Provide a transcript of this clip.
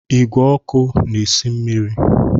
Igwe ọkụ na esi mmiri